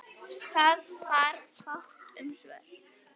Það varð fátt um svör.